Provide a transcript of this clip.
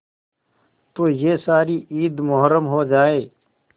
तो यह सारी ईद मुहर्रम हो जाए